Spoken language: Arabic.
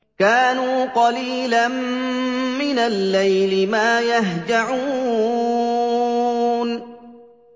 كَانُوا قَلِيلًا مِّنَ اللَّيْلِ مَا يَهْجَعُونَ